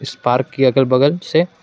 इस पार्क की अगल बगल से--